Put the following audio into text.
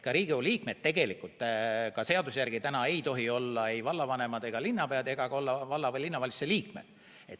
Ka Riigikogu liikmed ei tohi täna seaduse järgi olla ei vallavanemad ega linnapead ja nad ei tohi olla ka valla- või linnavalitsuse liikmed.